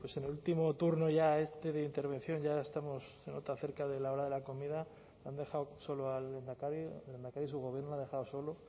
bien pues en el último turno este de intervención ya estamos se nota cerca de la hora de la comida le han dejado solo al lehendakari al lehendakari su gobierno le ha dejado solo